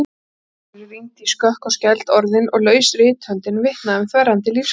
Snorri rýndi í skökk og skæld orðin og laus rithöndin vitnaði um þverrandi lífskraft.